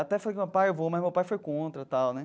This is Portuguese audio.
Até falei com meu pai, eu vou, mas meu pai foi contra tal né.